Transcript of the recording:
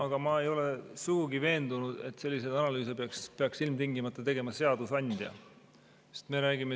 Aga ma ei ole sugugi veendunud, et selliseid analüüse peaks ilmtingimata tegema seadusandja.